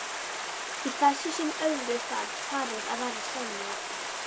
Í þessu sem öðru þarf parið að vera sammála.